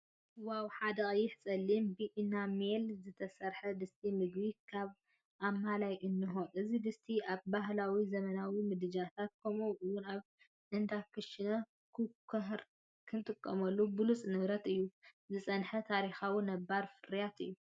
ዋው! ሓደ ቀይሕን ጸሊምን ብኢናሜል ዝተሰርሐ ድስቲ ምግቢ ካብ ኣማላይ እንሆ። እዚ ድስቲ ኣብ ባህላውን ዘመናውን ምድጃታት፡ ከምኡ’ውን ኣብ ኢንዳክሽን ኩከር ኽትጥቀመሉ ብሉጽ ንብረት እዩ። ዝጸንሐ ታሪኻውን ነባሪን ፍርያት እዩ።